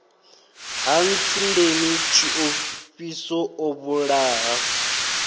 ha ntsundeni tshiofhiso o vhulaha